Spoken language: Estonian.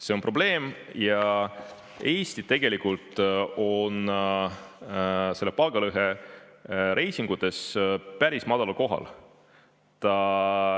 See on probleem ja Eesti tegelikult on selle palgalõhe reitingutes päris madalal kohal.